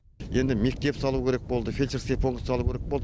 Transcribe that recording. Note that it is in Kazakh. енді мектеп салу керек болды фельдшерский пункт салу керек болды